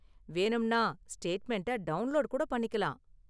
வேணும்னா, ஸ்டேட்மெண்டை டவுண்லோடு கூட பண்ணிக்கலாம்.